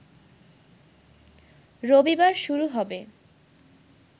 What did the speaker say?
রবিবার শুরু হবে